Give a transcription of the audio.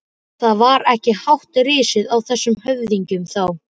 Það var ekki hátt risið á þessum höfðingjum þá!